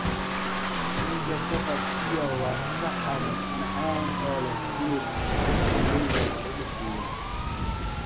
Keega Shepherd's pie waa saxan macaan oo leh hilib la shiiday iyo baradho shiidan.